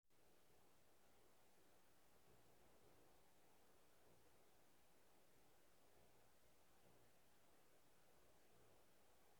if um accident um happen na ambulance suppose be the first thing wey you go call no lie.